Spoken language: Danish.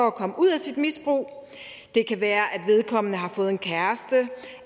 at komme ud af sit misbrug det kan være at vedkommende har fået en kæreste